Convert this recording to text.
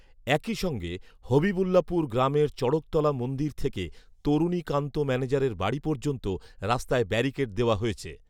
একই সঙ্গে হবিবুল্লাপুর গ্রামের চঢ়কতলা মন্দির থেকে তরুণী কান্ত ম্যানেজারের বাড়ি পর্যন্ত রাস্তায় ব্যারিকেড দেওয়া হয়েছে